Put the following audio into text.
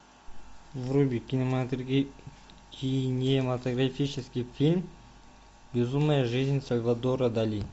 вруби кинематографический фильм безумная жизнь сальвадора дали